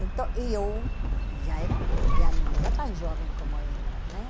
Então, eu já era já não era tão jovem como elas, né?